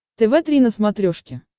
тв три на смотрешке